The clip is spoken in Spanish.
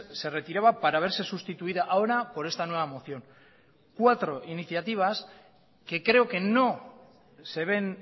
se retiraba para verse sustituida ahora por esta nueva moción cuatro iniciativas que creo que no se ven